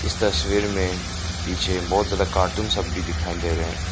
तस्वीर में पीछे बहोत ज्यादा कार्टून सब भी दिखाई दे रहे है।